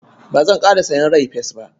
Ba zanƙara sayen rai-fes ba.